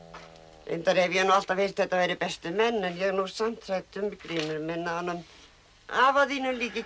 reyndar hef ég nú alltaf heyrt að þetta væru best menn en ég er nú samt hrædd um Grímur minn að honum af þínum líki ekki